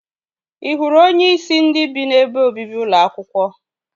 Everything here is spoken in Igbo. Ị hụrụ onyeisi ndị bi n'ebe obibi ụlọ akwụkwọ?